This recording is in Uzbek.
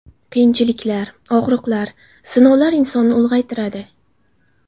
Qiyinchiliklar, og‘riqlar, sinovlar insonlarni ulg‘aytiradi.